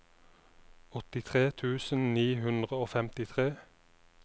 åttitre tusen ni hundre og femtitre